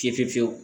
Fiye fiye fiyewu